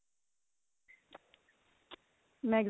ਮੈਂ